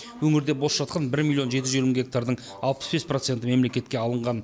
өңірде бос жатқан бір миллион жеті жүз елу мың гектардың алпыс бес проценті мемлекетке алынған